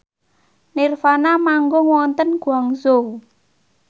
nirvana manggung wonten Guangzhou